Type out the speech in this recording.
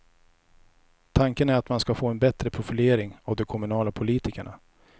Tanken är att man ska få en bättre profilering av de kommunala politikerna.